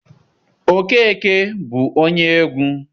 Okeke bụ onye egwu.